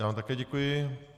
Já vám také děkuji.